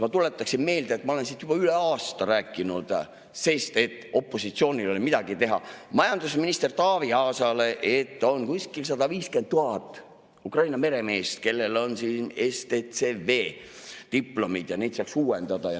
Ma tuletaksin meelde, et ma olen siin juba üle aasta rääkinud – opositsioonil ei ole ju midagi muud teha – majandusminister Taavi Aasale, et on kuskil 150 000 Ukraina meremeest, kellel on STCW-diplomid, ja neid saaks uuendada.